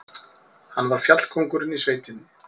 Hann var fjallkóngurinn í sveitinni.